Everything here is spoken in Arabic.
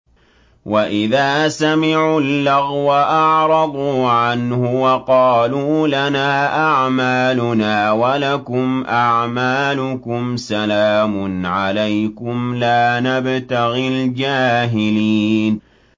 وَإِذَا سَمِعُوا اللَّغْوَ أَعْرَضُوا عَنْهُ وَقَالُوا لَنَا أَعْمَالُنَا وَلَكُمْ أَعْمَالُكُمْ سَلَامٌ عَلَيْكُمْ لَا نَبْتَغِي الْجَاهِلِينَ